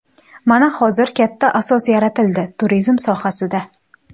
Mana hozir katta asos yaratildi turizm sohasida.